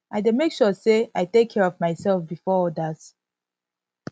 i dey make sure say i take care of myself before odas